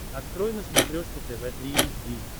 открой на смотрешке тв три эйч ди